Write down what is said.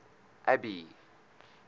abby